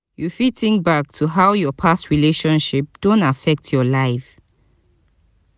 you fit think back to how your past relationship don affect your life